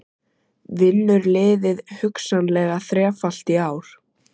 Vinnur liðið hugsanlega þrefalt í ár?